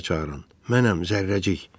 Mənəm, Zərrəcik.